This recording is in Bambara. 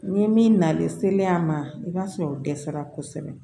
Ni min nalen sele an ma i b'a sɔrɔ o dɛsɛra kosɛbɛ